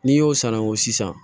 N'i y'o sango sisan